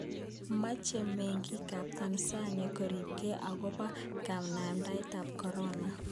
Meche mengiik ab Tansania koribkei akobo kanamdaet ab Korona